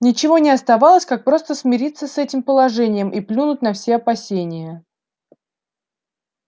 ничего не оставалось как просто смириться с этим положением и плюнуть на все опасения